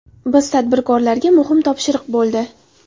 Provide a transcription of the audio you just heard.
Biz tadbirkorlarga muhim topshiriq bo‘ldi.